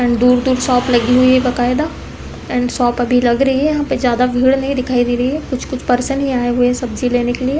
And दूर-दूर shop लगी हुई है बकायदा एंड शॉप अभी लग रही है यहाँ पे ज्यादा भीड़ नहीं दिखाई दे रही है। कुछ-कुछ पर्सन ही आए हुए हैं सब्जी लेने के लिए।